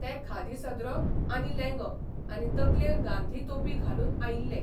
ते खादी सदरो आनी लेंगो आनी तकलेर गांधी तोपी घालून आयिल्ले.